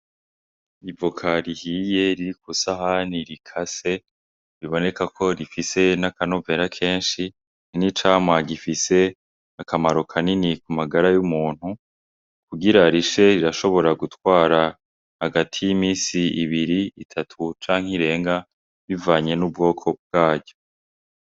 Ivoka rihiye riri ku isahani rikase biboneka ko rifise naka novera keshi n'icamwa gifise akamaro kanini ku magara y'umuntu kugira rishe rirashobora gutwara hagati y'iminsi ibiri, itatu canke irenga bivanye n'ubwoko bwaryo.